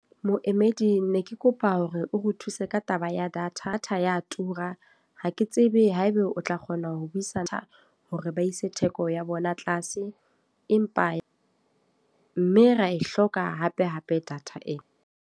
Moemedi ne ke kopa hore o re thuse ka taba ya data. Data ya tura. Ha ke tsebe haeba o tla kgona ho buisana, hore ba ise theko ya bona tlase. Empa mme ra e hloka hape hape data ena.